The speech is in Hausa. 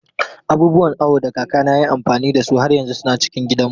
Abubuwan awo da kakana ya yi amfani da su har yanzu suna cikin gidanmu.